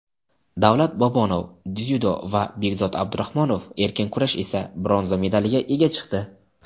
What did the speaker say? Davlat Bobonov (dzyudo) va Bekzod Abdurahmonov (erkin kurash) esa bronza medaliga ega chiqdi.